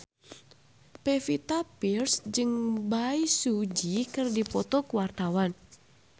Pevita Pearce jeung Bae Su Ji keur dipoto ku wartawan